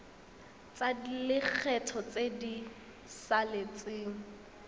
tsa lekgetho tse di saletseng